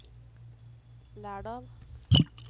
Lærdal